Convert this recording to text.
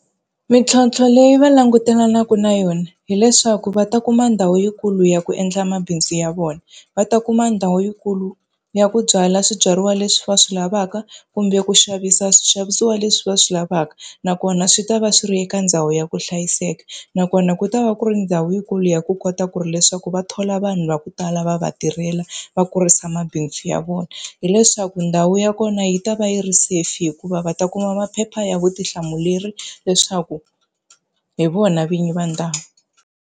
Mintlhontlho leyi va langutanaka na yona hileswaku va ta kuma ndhawu yikulu ya ku endla mabindzu ya vona, va ta kuma ndhawu yikulu ya ku byala swibyariwa leswi va swi lavaka kumbe ku xavisa swixavisiwa leswi va swi lavaka. Nakona swi ta va swi ri eka ndhawu ya ku hlayiseka, nakona ku ta va ku ri ndhawu yikulu ya ku kota ku ri leswaku va thola vanhu va ku tala va va tirhela va kurisa mabindzu ya vona. Hileswaku ndhawu ya kona yi ta va yi ri safe hikuva va ta kuma maphepha ya vutihlamuleri leswaku hi vona vinyi va ndhawu.